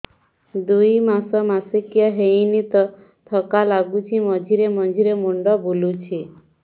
ଦୁଇ ମାସ ମାସିକିଆ ହେଇନି ଥକା ଲାଗୁଚି ମଝିରେ ମଝିରେ ମୁଣ୍ଡ ବୁଲୁଛି